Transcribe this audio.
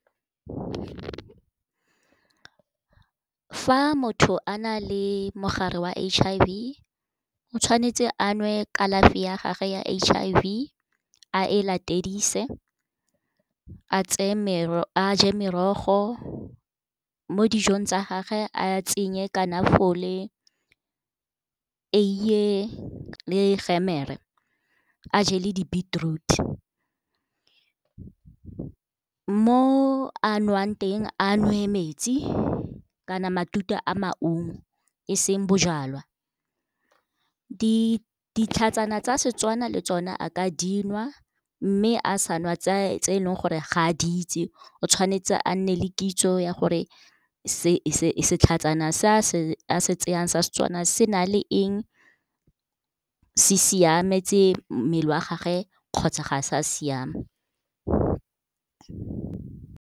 Fa motho a na le mogare wa H_I_V, o tshwanetse a nwe kalafi ya gagwe ya H_I_V, a e latedise, a je merogo, mo dijong tsa gage a tsenye , eiye le gemere, a je le di-beetroot. Mo a nwang teng, a nwe metsi kana matute a maungo, e seng bojalwa. Ditlhatsana tsa Setswana le tsona a ka dinwa, mme a sa nwa tse leng gore ga a di itse, o tshwanetse a nne le kitso ya gore setlhatsana sa se tsayang sa Setswana se na le eng, se siametse mmele wa gage kgotsa ga sa siama.